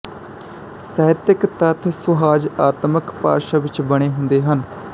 ਸਾਹਿਤਕ ਤੱਥ ਸੁਹੱਜਆਤਮਕ ਭਾਸ਼ਾ ਵਿੱਚ ਬਣੇ ਹੁੰਦੇ ਹਨ